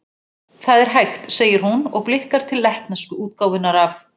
Það er hægt, segir hún, og blikkar til lettnesku útgáfunnar af